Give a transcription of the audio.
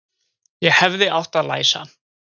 Ég hefði átt að læsa.